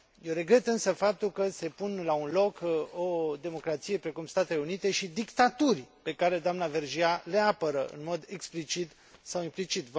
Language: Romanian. Eu regret însă faptul că se pun la un loc o democrație precum Statele Unite și dictaturi pe care doamna Vergiat le apără în mod explicit sau implicit.